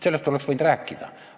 Sellest oleks võinud rääkida.